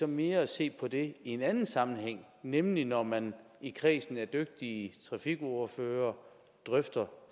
mere se på det i en anden sammenhæng nemlig når man i kredsen af dygtige trafikordførere drøfter